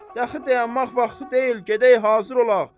Daha dayanmaq vaxtı deyil, gedək hazır olaq.